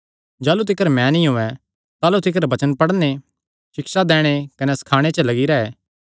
जाह़लू तिकर मैं नीं औयें ताह़लू तिकर वचन पढ़णे सिक्षा दैणे कने सखाणे च लग्गी रैह्